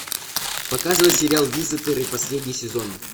показывай сериал визитеры последний сезон